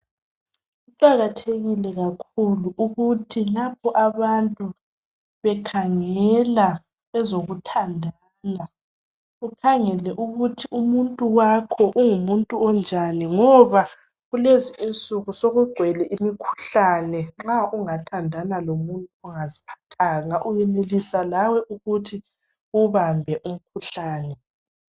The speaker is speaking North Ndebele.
Kuqakathekile kakhulu ukuthi lapho abantu bekhangela ezokuthandana ukhangele ukuthi umuntu wakho ungumuntu onjani ngoba kulezi insuku sekugcwele imikhuhlane nxa ungathandana lomuntu ongaziphathanga uyenelisa lawe ukuthi uwubambe umkhuhlane.